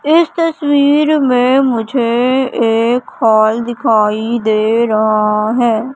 इस तस्वीर में मुझे एक हॉल दिखाई दे रहा हैं।